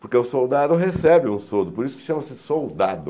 Porque o soldado recebe um soldo, por isso que chama-se soldado.